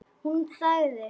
Hún þagði.